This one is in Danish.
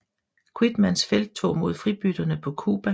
Quitmans felttog mod fribytterne på Cuba